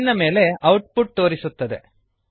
screen ನ ಮೇಲೆ output ತೋರಿಸುತ್ತದೆ